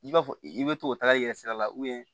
I b'a fɔ i bɛ to k'o taga i yɛrɛ sira la